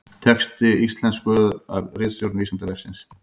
Texti íslenskaður af ritstjórn Vísindavefsins.